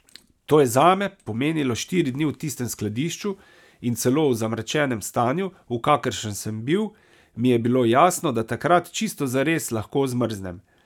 To je zame pomenilo štiri dni v tistem skladišču, in celo v zamračenem stanju, v kakršnem sem bil, mi je bilo jasno, da tokrat čisto zares lahko zmrznem.